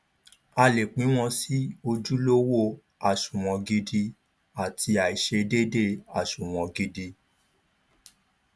a lè pín wọn sì ojúlówó àsunwon gidi àti àìṣedéédé àsunwon gidi